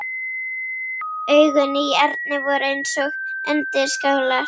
Augun í Erni voru eins og undirskálar.